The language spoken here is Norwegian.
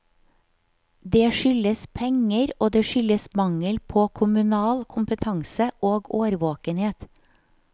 Det skyldes penger og det skyldes mangel på kommunal kompetanse og årvåkenhet.